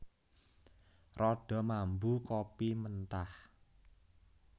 Rada mambu kopi mentah